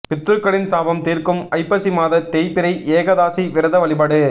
பித்ருக்களின் சாபம் தீர்க்கும் ஐப்பசி மாத தேய்பிறை ஏகாதசி விரத வழிபாடு